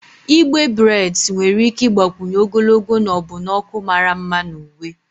Igbe breds nwere ike ịgbakwunye ogologo na ọbụna ọkụ mara mma na uwe.